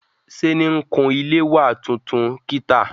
Sé ni n kun ilé wa tuntun kìtà